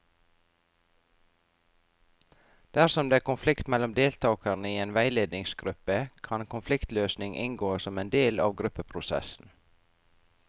Dersom det er konflikt mellom deltakere i en veiledningsgruppe, kan konfliktløsning inngå som en del av gruppeprosessen.